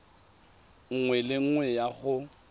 nngwe le nngwe ya go